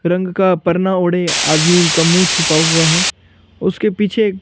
रंग का परना ओढ़े आदमी का मुंह छुपा हुआ है उसके पीछे--